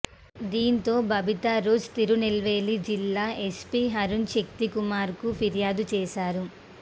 దీంతో బబితారోజ్ తిరునెల్వేలి జిల్లా ఎస్పీ అరుణ్ శక్తికుమార్కు ఫిర్యాదు చేశారు